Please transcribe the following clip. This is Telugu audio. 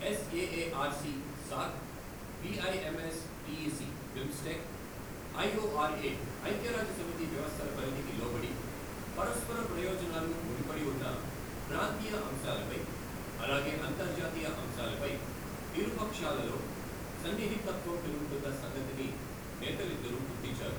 SAAR C SAARC, BIMSTEC BIMSTEC, IORA, ఐక్య రాజ్య సమితి వ్యవస్థల పరిధికి లోబడి పరస్పర ప్రయోజనాలు ముడిపడి ఉన్న ప్రాంతీయ అంశాలపై, అలాగే అంతర్జాతీయ అంశాలపై ఇరు పక్షాలలో సన్నిహితత్వం పెరుగుతున్న సంగతిని నేతలిద్దరూ గుర్తించారు.